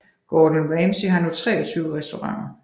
Gordon Ramsay har nu 23 restauranter